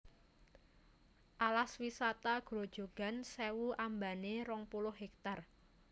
Alas Wisata Grojogan Sèwu ambané rong puluh hektar